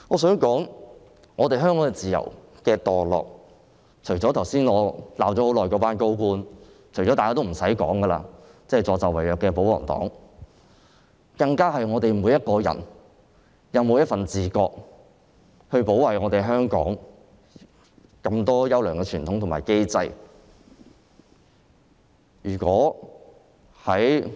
香港自由度下跌，是由於我剛才罵了很久的高官，以及助紂為虐的保皇黨所致，而我們每個人應自覺地保衞香港的眾多優良傳統和機制。